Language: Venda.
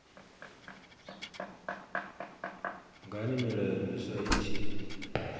ngani milayo miswa i tshi